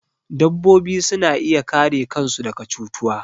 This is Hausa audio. Dabbobi suna iya kare kan su daga cutuwa